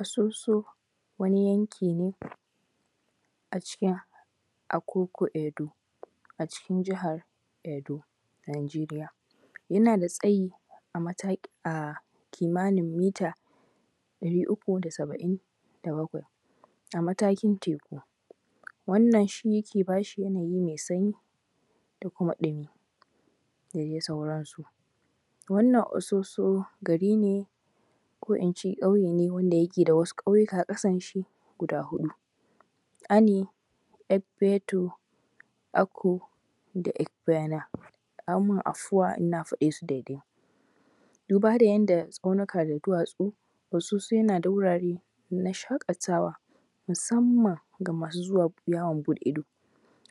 Asoso wani yanki ne a cikin Akoko Edo, a cikin jihar Edo Najeriya. Yana da tsayi a mata a kimanin mita ɗari uku da saba’in da bakwai a matakin teku. Wannan shi yake bas hi yanayi mai sanyi da kuma ɗumu da dai sauransu. Wannan Asoso gari ne, ko in ce ƙauye ne wanda yake da wasu aƙauyuka ƙasan shi, guda huɗu, Ani, Efeto, Ako da Efeyana. A min afuwa in na faɗe su daidai, duba da yanda tsaunuka da duwatsu, Asoso yana wurare na shaƙatawa, musamman ga masu zuwa yawon buɗe ido,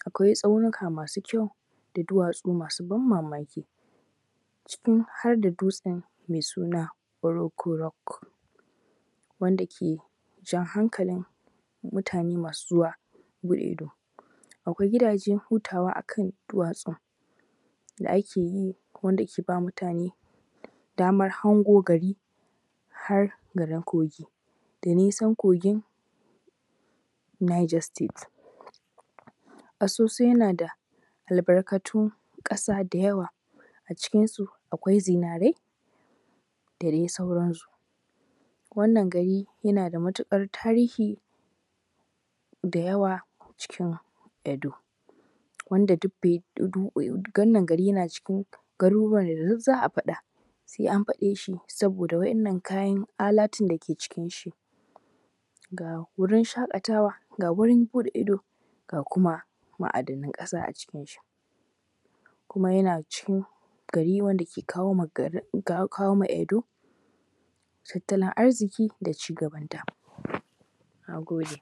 akwai tsaunuka masu kyau da duwatsu masu ban mamaki. Cikin har da dutsen mai suna Oruko rock, wanda ke jan hankali mutane masu yawon buɗe ido,, Akwai gidajen hutawa akan duwatsun da ake yi, wanda ke ba mutane damar hango gari har garin Kogi da nisan kogin Niger state. Asoso yana da albarkatun ƙasa da yawa, a cikinsu akwai zinarai da dai sauransu. Wannan gari yana da matuƙar tarihi da yawa cikin Edo. Wannan gari yana cikin garuruwan da duk za a afaɗa, sai an faɗe shi saboda wa’yannan kayan alatun dake cikin shi.. Ga gurin shaƙatawa ga guriin buɗe ido ga kuma ma’adanan ƙasa a cikin shi. uma yana cikin gari wanda yake kawo ma Edo tattalin arziki da cigabanta. Na gode.